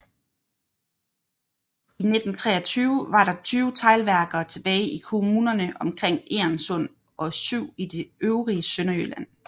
I 1923 var der 20 teglværker tilbage i kommunerne omkring Egernsund og 7 i det øvrige Sønderjylland